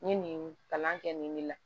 N ye nin kalan kɛ nin ne la